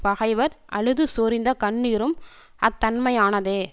பகைவர் அழுதுசொரிந்த கண்ணீரும் அத்தன்மையானதே